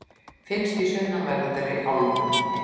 finnst í sunnanverðri álfunni